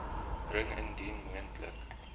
bring indien moontlik